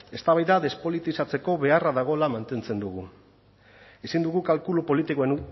eztabaida despolitizatzeko beharra dagoela mantentzen dugu ezin dugu kalkulu